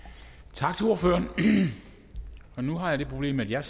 tak til ordføreren nu har jeg det problem at jeg